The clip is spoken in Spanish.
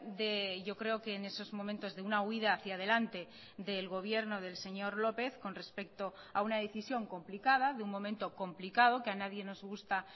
de yo creo que en esos momentos de una huida hacia adelante del gobierno del señor lópez con respecto a una decisión complicada de un momento complicado que a nadie nos gusta